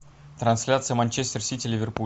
трансляция манчестер сити ливерпуль